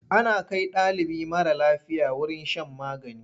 Ana kai ɗalibi mara lafiya wurin shan magani.